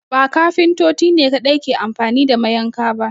Ba Kafintoti ne kaɗai ke anfani da mayanka ba